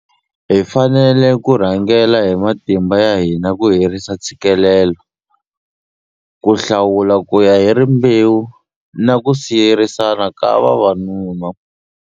Hi fanele ku rhangela hi matimba ya hina ku herisa ntshikelelo, ku hlawula kuya hi rimbewu na ku siyerisana ka vavanuna.